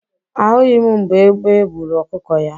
A hụghị m mgbe egbe buru ọkụkọ ya.